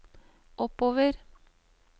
oppover